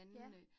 Ja